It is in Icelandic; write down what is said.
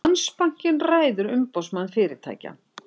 Landsbankinn ræður Umboðsmann fyrirtækja